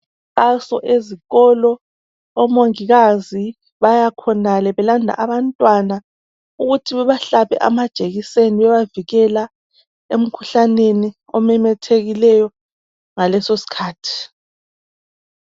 Kulomkhankaso ezikolo omongikazi bayakhonale. Belanda abantwana ukuthi bebahlabe amajekiseni. Bebavikela, emkhuhlaneni, ememethekileyo, ngalesosikhathi.